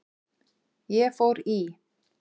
Ég fór í